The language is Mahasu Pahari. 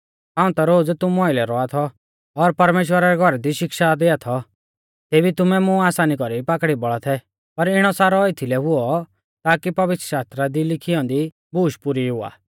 हाऊं ता रोज़ तुमु आइलै रौआ थौ और परमेश्‍वरा रै घौरा दी शिक्षा दिआ थौ तेबी तुमै मुं आसानी कौरी पाकड़ी बौल़ा थै पर इणौ सारौ एथीलै हुऔ ताकी पवित्रशास्त्रा दी लिखी औन्दी बूश पुरी हुआ